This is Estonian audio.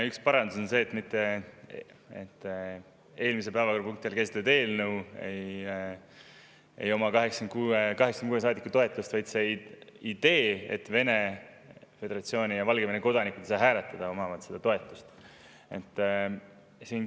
Üks parandus on see, et mitte eelmises päevakorrapunktis käsitletud eelnõul ei ole 86 saadiku toetust, vaid sellel ideel, et Vene Föderatsiooni ja Valgevene kodanikud ei saa hääletada, on nende toetus.